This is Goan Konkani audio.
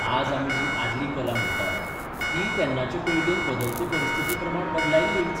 आज आमी जी आदली कला म्हणटात तीय तेन्नाचे पिळगेन बदलते परिस्थितीप्रमाण बदलायिल्लीच.